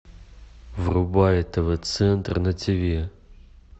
врубай тв центр на тв